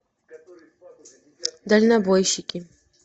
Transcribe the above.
дальнобойщики